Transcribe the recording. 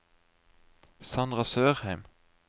Sandra Sørheim